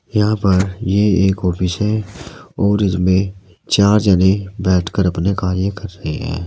यहां पर ये एक ऑफिस है और इसमें चार जने बैठकर अपने कार्य कर रहे हैं।